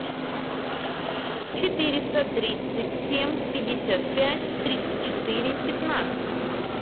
четыреста тридцать семь пятьдесят пять тридцать четыре пятнадцать